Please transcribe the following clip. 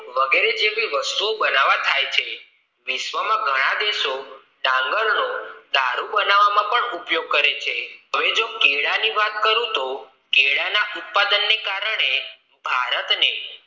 વગેરે જેવી વસ્તુ બનવા થાય છે વિશ્વ માં ઘણા દેશો ડાંગર નો દારૂ બનવા ઉપયોગ કરે છે હવે જો કેળાં ની વાત કરું તો કેળાં ના ઉત્પાદન ના કારણે ભારત ને